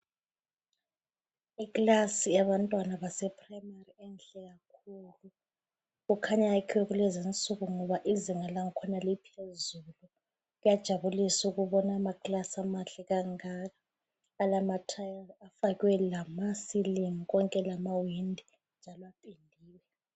Ikilasi yabantwana basePhurayimari enhle kakhulu. Kukhanya iyakhiwe kulezi insuku ngoba izinga lakhona liphezulu. Kuyajabulisa ukubona amakilasi amahle kangaka, alathayili afakwe lamasilingi konke lamawindi njalo apendiwe.